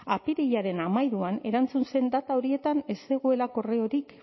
apirilaren hamairuan erantzun zen data horietan ez dugula akordiorik